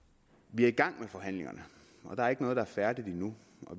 vi er i gang med forhandlingerne og der er ikke noget der er færdigt endnu